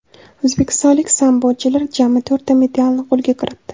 O‘zbekistonlik sambochilar jami to‘rtta medalni qo‘lga kiritdi.